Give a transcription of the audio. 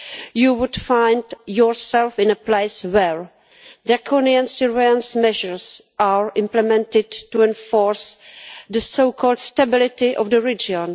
You would find yourself in a place where draconian surveillance measures are implemented to enforce the so called stability' of the region